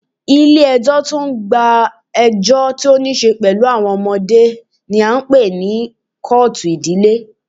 Ilé ẹjọ́ tí o ń gbọ́ ẹjọ́ tí o níṣe pẹlú àwọn ọmọdé ní a ń pé ní kọ́ọ̀tù ìdílé.